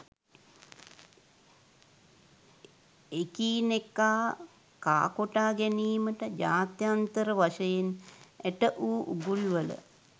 එකී නෙකා කා කොටා ගැනීමට ජාත්‍යන්තර වශයෙන් ඇටවූ උගුල්වල